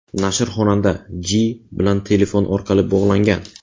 Nashr xonanda J. bilan telefon orqali bog‘langan.